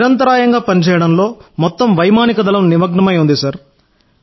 నిరంతరాయంగా పనిచేయడంలో మొత్తం వైమానిక దళం నిమగ్నమై ఉంది సార్